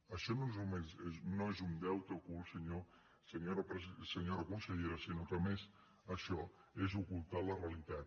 això no és només un deute ocult senyora conselle·ra sinó que a més això és ocultar la realitat